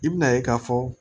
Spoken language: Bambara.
I bina ye ka fɔ